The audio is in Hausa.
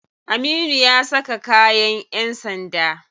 Aminu ya saka kayan yan sanda.